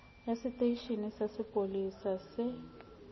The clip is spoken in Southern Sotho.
ya seteisheneng sa sepolesa se